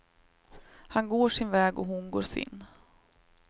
Han går sin väg och hon går sin.